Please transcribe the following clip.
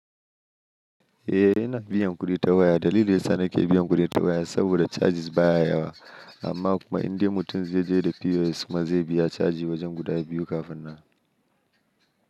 Eh, ina biyan kuɗi ta waya. Dalilin da ya sa na ke biyan kuɗi ta waya saboda charges baya yawa. Amma kuma in dai mutum zai je da POS kuma zai biya caji wajen guda biyu kafin nan.